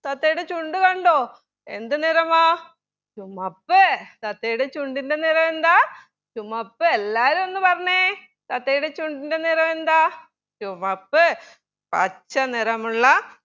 തത്തയുടെ ചുണ്ട് കണ്ടോ എന്ത് നിറമാ ചുമപ്പ് താത്തയുടെ ചുണ്ടിൻ്റെ നിറമെന്താ ചുമപ്പ് എല്ലാവരും ഒന്ന് പറഞ്ഞെ തത്തയുടെ ചുണ്ടിൻ്റെ നിറമെന്താ ചുമപ്പ് പച്ച നിറമുള്ള